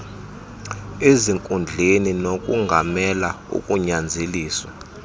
ezinkundleni nokongamela ukunyanzeliswa